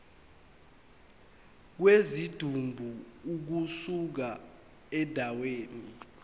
kwesidumbu ukusuka endaweni